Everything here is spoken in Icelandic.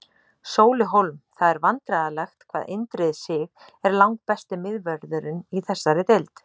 Sóli Hólm Það er vandræðalegt hvað Indriði Sig er langbesti miðvörðurinn í þessari deild.